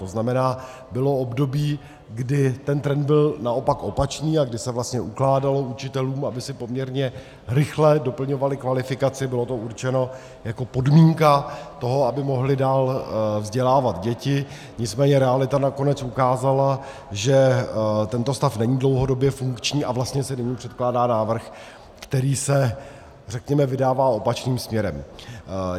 To znamená, bylo období, kdy ten trend byl naopak opačný a kdy se vlastně ukládalo učitelům, aby si poměrně rychle doplňovali kvalifikaci, bylo to určeno jako podmínka toho, aby mohli dál vzdělávat děti, nicméně realita nakonec ukázala, že tento stav není dlouhodobě funkční, a vlastně se nyní předkládá návrh, který se, řekněme, vydává opačným směrem.